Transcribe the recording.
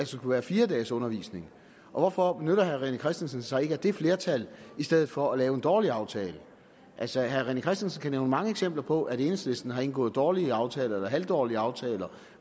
skulle være fire dages undervisning hvorfor benytter herre rené christensen sig ikke af det flertal i stedet for at lave en dårlig aftale altså herre rené christensen kan nævne mange eksempler på at enhedslisten har indgået dårlige aftaler eller halvdårlige aftaler